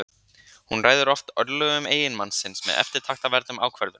hún ræður oft örlögum eiginmanns síns með eftirtektarverðum ákvörðunum